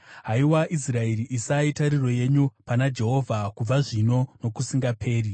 Haiwa Israeri, isai tariro yenyu pana Jehovha, kubva zvino nokusingaperi.